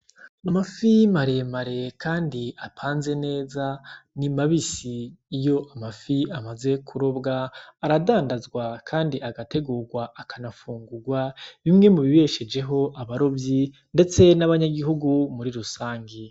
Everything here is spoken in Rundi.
Amafi maremare kandi apanze neza, ni mabisi. Iyo amafi amaze kurobwa aradadazwa kandi agategugwa akanafungugwa, bimwe mubibeshejeho abarovyi, ndetse nabanyagihugu muri rusangi.